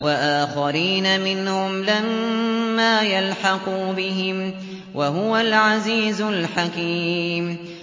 وَآخَرِينَ مِنْهُمْ لَمَّا يَلْحَقُوا بِهِمْ ۚ وَهُوَ الْعَزِيزُ الْحَكِيمُ